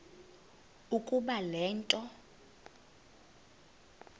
ukuba le nto